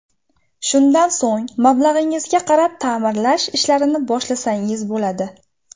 Shundan so‘ng mablag‘ingizga qarab ta’mirlash ishlarini boshlasangiz bo‘ladi.